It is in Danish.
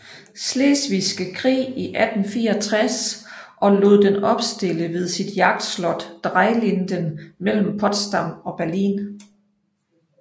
Slesvigske Krig i 1864 og lod den opstille ved sit jagtslot Dreilinden mellem Potsdam og Berlin